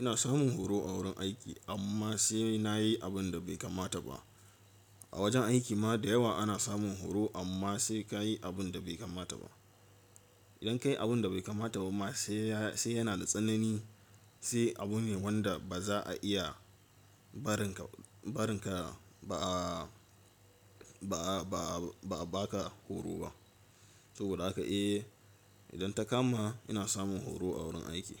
ina samun horo a wurin aiki, amma sai na yi abin da bai kamata ba. A wajen aiki ma da yawa ana samun horo, amma sai ka yi abin da bai kamata ba. Idan ka yi abin da bai kamata ba ma sai yana da tsanani, sai abu ne wanda ba za a iya barin ka barinka, ba, 'a ba'a, ba'a, ba ka horo ba. Saboda haka eh, idan ta kama ina samun horo a wurin aiki.